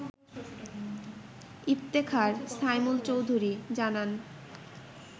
ইফতেখার সাইমুল চৌধুরী জানান